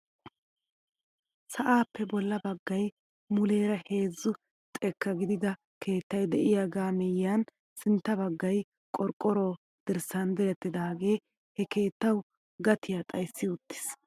Sa'aappe bolla baggay muleera heezzu xekka gidido keettay de'iyaagaa miyiyaan sintta baggay qorqqoro dirssan direttidaagee he keettawu gatiyaa xayssi wottiis!